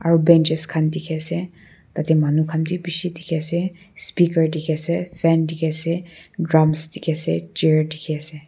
aru benches khan dikhi ase tah teh manu khan bhi bishi dikhi ase speaker dikhi ase fan dikhi ase drums dikhi ase chair dikhi ase.